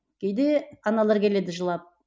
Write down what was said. кейде аналар келеді жылап